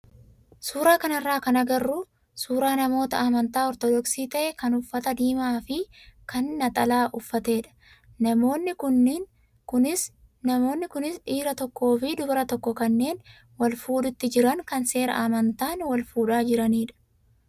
Suuraa kanarraa kan agarru suuraa namoota amantaa ortodoksii ta'e kan uffata diimaa fi kan naxalaa uffattedha. Namoonni kunis dhiira tokkoo fi dubara tokko kanneen wal fuudhuutti jiran kan seera amantaan wal fuudhaa jiranidha.